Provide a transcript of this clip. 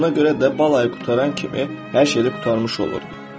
Buna görə də bal ayı qurtaran kimi hər şey də qurtarmış olurdu.